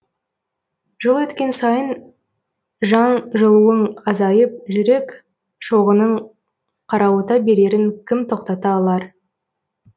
жыл өткен сайын жан жылуың азайып жүрек шоғының қарауыта берерін кім тоқтата алар